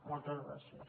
moltes gràcies